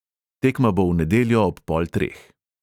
Tekma bo v nedeljo ob pol treh.